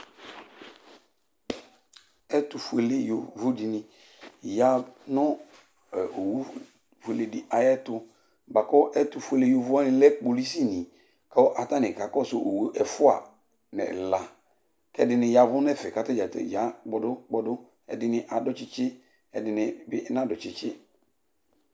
ɛtufuele yovo dini ya nu owu fuele di ayiɛtu buaku ɛtufuele yovowani lɛ kpolusi ni ku atani ka kɔsu owu ɛfua n'ɛla, k'ɛdini yavù n'ɛfɛ k'atadzakplo ya kpɔdu ɛdini adu tsitsi, ɛdini n'adu tsitsi